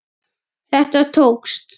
Þetta tókst!